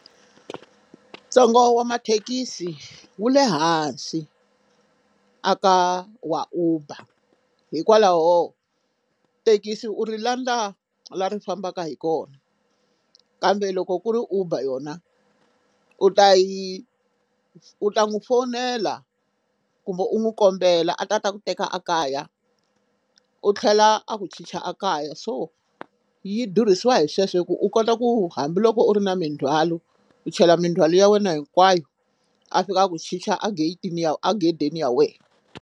Ntsengo wa mathekisi wu le hansi a ka wa Uber hikwalaho thekisi u ri landza la ri fambaka hi kona kambe loko ku ri Uber yona u ta yi u ta n'wi fowunela kumbe u n'wu kombela a ta a ta ku teka a kaya u tlhela a ku chicha a kaya so yi durhisa hi sweswo hi ku u kota ku hambiloko u ri na mindzwalo u chela mindzwalo ya wena hinkwayo a fika a ku chicha ageyitini ya agedeni ya wena.